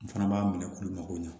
N fana b'a minɛ olu mago ɲɛ